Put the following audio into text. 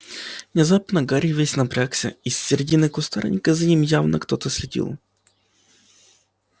внезапно гарри весь напрягся из середины кустарника за ним явно кто-то следил